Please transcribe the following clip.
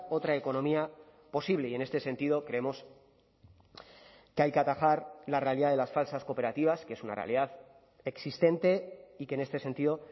otra economía posible y en este sentido creemos que hay que atajar la realidad de las falsas cooperativas que es una realidad existente y que en este sentido